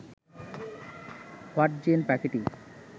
hoatzin পাখিটি